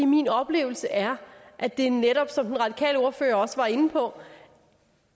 min oplevelse er at det netop som den radikale ordfører også var inde på